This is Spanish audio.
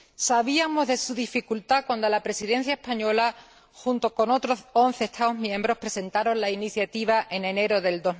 Sabíamos de su dificultad cuando la Presidencia española, junto con otros once Estados miembros, presentó la iniciativa en enero de